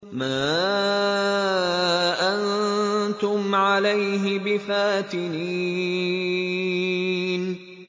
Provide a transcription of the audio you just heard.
مَا أَنتُمْ عَلَيْهِ بِفَاتِنِينَ